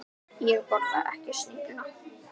Ég borða ekki snigla.